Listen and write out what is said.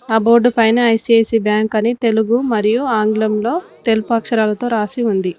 ఆ బోర్డు పైన ICICI bank అని తెలుగు మరియు ఆంగ్లంలో తెలుపు అక్షరాలతో రాసి ఉంది.